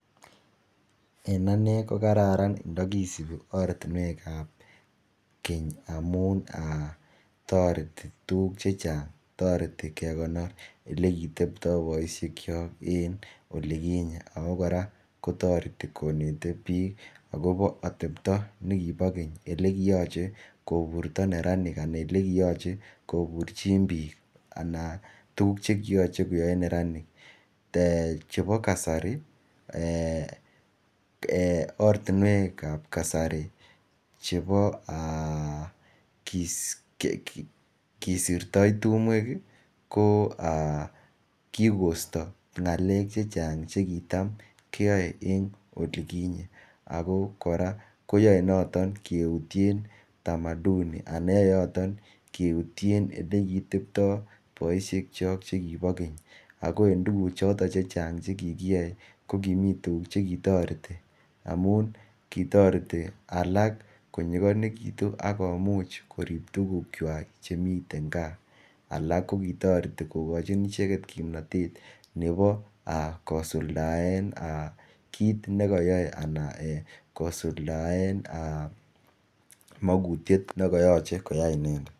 En anee ko gararan ndogisube ortinweek ab keny amuun toreti tuguuk chechang, toreti kegonoor elegiteptoo boishek kyook en oliginyeen ago koraa kotoreti koneti biik agobo atepto negibo keny , elegiyoche koburto neraniik anan elegiyoche koburchiin biik anan tuguk chegiyoche koyoe neraniik, chebo kasarii um eeh ortinweek ab kasari chebo um aaah kisirtoo tumweek iih koo aah kigoisto ngaleek chechang' chegitam kyoee en oliginyeen ago koraa koyoe noton keutyeen tamaduni anan yoe yotoon keutyeen elegitebtoo boishek chook chegibo keny, ago en tuguk choton chechang' chegigiyoe ko kimii tuguk chegitoreti, kitoreti alaak konyigonegitun ak komuch koriib tuguk chwaak chemiten kaa, alak kogitoreti kogochi icheget kimnotet nebo aah kosuldaeen anan um kiit negoyoee anan um aah kosuldaeen mogutyeet negoyoche koyaai inendeet.